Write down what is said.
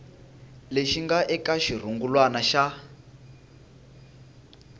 lexi nga eka xirungulwana xa